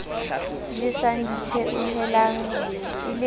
jeseng ditheohelang e le ka